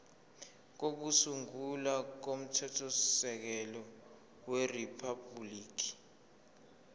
kokusungula komthethosisekelo weriphabhuliki